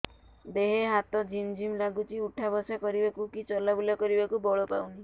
ଦେହେ ହାତ ଝିମ୍ ଝିମ୍ ଲାଗୁଚି ଉଠା ବସା କରିବାକୁ କି ଚଲା ବୁଲା କରିବାକୁ ବଳ ପାଉନି